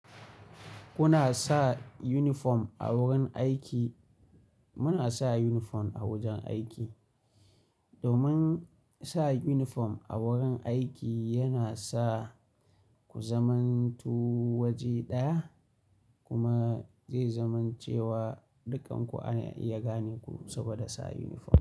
Kuna sa uniform a wurin aiki, muna sa uniform a wajen aiki. Domin sa uniform a wurin aiki yana sa ku zamantu waje ɗaya kuma zai zaman cewa dukkanku ana iya gane ku saboda sa uniform.